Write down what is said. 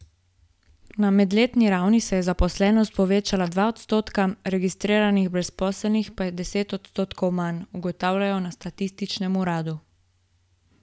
Na medletni ravni se je zaposlenost povečala dva odstotka, registriranih brezposelnih pa je deset odstotkov manj, ugotavljajo na statističnem uradu.